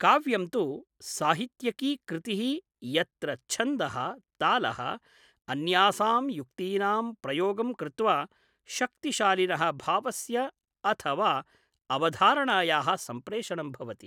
काव्यं तु साहित्यिकी कृतिः यत्र छन्दः, तालः, अन्यासां युक्तीनां प्रयोगं कृत्वा शक्तिशालिनः भावस्य अथ वा अवधारणायाः सम्प्रेषणं भवति।